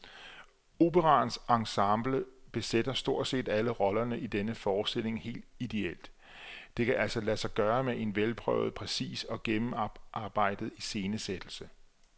Operaens ensemble besætter stort set alle roller i denne forestilling helt idéelt, det kan altså lade sig gøre med en velprøvet, præcis og gennemarbejdet iscenesættelse.